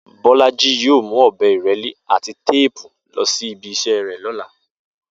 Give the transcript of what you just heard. Bó̩lájí yóò mú ò̩be̩ ìré̩lé àti téèpu lo̩ sí ibi is̩é̩ ló̩la